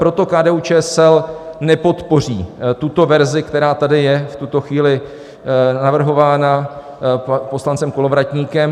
Proto KDU-ČSL nepodpoří tuto verzi, která tady je v tuto chvíli navrhována poslancem Kolovratníkem.